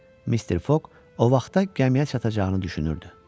Mister Foq o vaxta gəmiyə çatacağını düşünürdü.